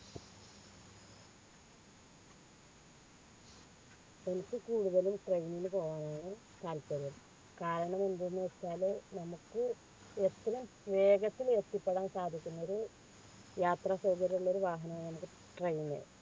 എനിക്ക് കൂടുതലും train ൽ പോവാനാണ് താൽപര്യം കാരണം എന്തെന്ന് വെച്ചാൽ നമുക്ക് വേഗത്തിൽ എത്തിപ്പെടാൻ സാധിക്കുന്നത് യാത്ര സൗകര്യമുള്ള ഒരു വാഹനമാണിത് train